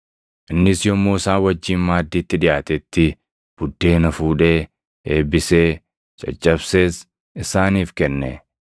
Innis yommuu isaan wajjin maaddiitti dhiʼaatetti buddeena fuudhee, eebbisee, caccabsees isaaniif kenne.